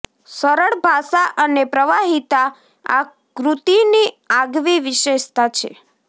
સરળ ભાષા અને પ્રવાહિતા આ કૃતિની આગવી વિશેષતા છે